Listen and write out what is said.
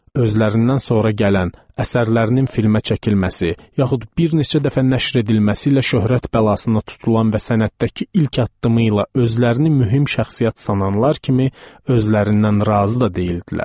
Özlərindən sonra gələn, əsərlərinin filmə çəkilməsi yaxud bir neçə dəfə nəşr edilməsi ilə şöhrət bəlasına tutulan və sənətdəki ilk addımı ilə özlərini mühüm şəxsiyyət sananlar kimi özlərindən razı da deyildilər.